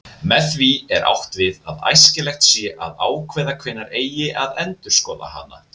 Með því er átt við að æskilegt sé að ákveða hvenær eigi að endurskoða hana.